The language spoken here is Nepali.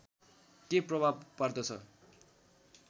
के प्रभाव पर्दछ